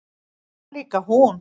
Það var líka hún.